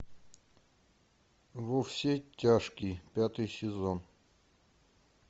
во все тяжкие пятый сезон